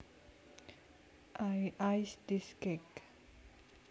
I iced this cake